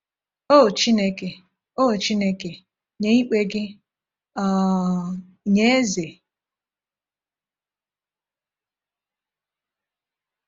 “O Chineke, “O Chineke, nye ikpe gị um nye eze…”